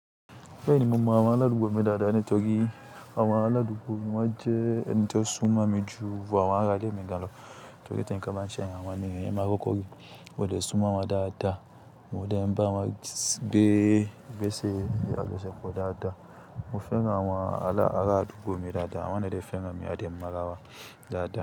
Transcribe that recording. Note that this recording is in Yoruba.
Bẹ́ẹ̀ni mo mọ àwọn aládùúgbò mi dáadáa ni, torí àwọn aládùúgbò mi wọ́n jẹ́ ẹni tó sún mọ́ mi ju àwọn ará ilé mi gan lọ torí ti nńkán bá ń ṣẹ́yàn, àwọn ènìyàn maa kokọ́ ri mó dè sún mọ́ won dáadáa, mó de ń bá won gbẹ́, igbese ni àjọ́ṣepọ̀ dáadáa. Mo fẹ́ran àwọn ará àdúgbò mi dáadáa, àwọn ni dè fẹ́ran mi a dẹ mọ́ ara wa dáadáa.